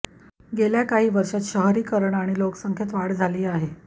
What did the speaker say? गेल्या काही वर्षांत शहरीकरण आणि लोकसंख्येत वाढ झाली आहे